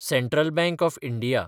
central bank of India